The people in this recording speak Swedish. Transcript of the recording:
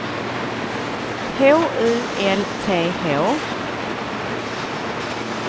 H U L T H